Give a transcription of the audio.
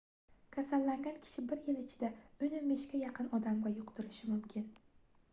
kasallangan kishi bir yil ichida 10-15 ga yaqin odamga yuqtirishi mumkin